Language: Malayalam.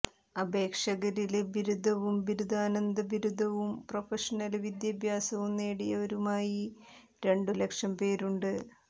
അപേക്ഷകരില് ബിരുദവും ബിരുദാനന്തരബിരുദവും പ്രൊഷനല് വിദ്യാഭ്യാസവും നേടിയവരുമായി രണ്ടു ലക്ഷം പേരുണ്ട്